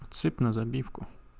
сыпь на забивку